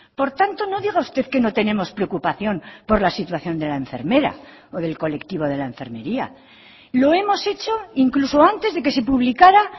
por tanto no diga usted que no tenemos preocupación por la situación de la enfermera o del colectivo de la enfermería lo hemos hecho incluso antes de que se publicara